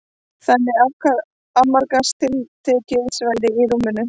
Þannig afmarkast tiltekið svæði í rúminu.